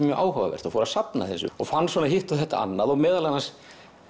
mjög áhugavert og fór að safna þessu og fann svona hitt og þetta annað og meðal annars